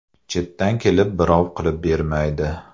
Chetdan kelib birov qilib bermaydi.